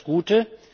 Das ist das Gute.